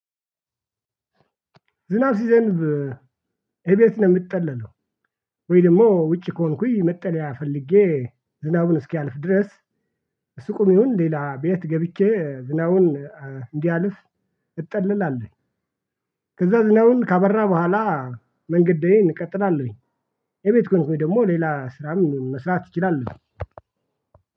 ዝናብ ሲዘንብ እቤት ነው የምትጠለለው? ወይ ደግሞ ውጪ ከሆንኩኝ መጠለያ ፈልጌ ዝናቡ እስኪያልፍ ድረስ ሱቅም ይሁን ሌላ ቤት ገብቼ ዝናቡን እንዲያልፍ እጠልላለሁ። ከዛ ዝናቡም ካባራ በኋላ መንገዴን እቀጥላለሁ። ቤት ከሆንኩኝ ደግሞ ሌላ ስራም መስራት እችላለሁ።